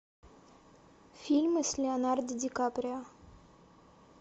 фильмы с леонардо ди каприо